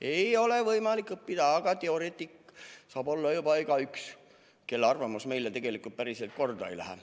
Ei ole võimalik õppida, aga teoreetik saab olla igaüks, kelle arvamus meile tegelikult päriselt korda ei lähe.